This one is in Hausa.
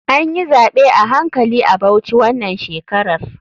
Anyi zaɓe a hankali a bauchi wanan shekarar.